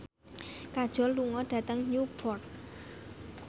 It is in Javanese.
Kajol lunga dhateng Newport